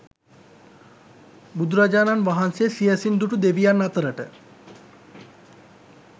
බුදුරජාණන් වහන්සේ සියැසින් දුටු දෙවියන් අතරට